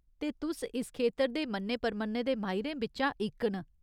ते, तुस इस खेतर दे मन्ने परमन्ने दे माहिरें बिच्चा इक न।